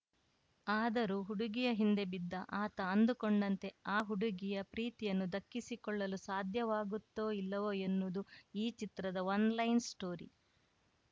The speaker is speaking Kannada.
ಆದರೂ ಹುಡುಗಿಯ ಹಿಂದೆ ಬಿದ್ದ ಆತ ಅಂದುಕೊಂಡಂತೆ ಆ ಹುಡುಗಿಯ ಪ್ರೀತಿಯನ್ನು ದಕ್ಕಿಸಿಕೊಳ್ಳಲು ಸಾಧ್ಯವಾಗುತ್ತೋ ಇಲ್ಲವೋ ಎನ್ನುವುದು ಈ ಚಿತ್ರದ ಒನ್‌ಲೈನ್‌ ಸ್ಟೋರಿ